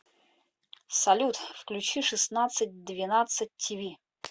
салют включи шестандцать двенадцать ти ви